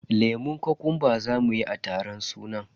lemun kokumba zamu yi a taron sunan.